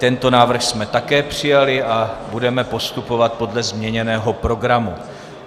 Tento návrh jsme také přijali a budeme postupovat podle změněného programu.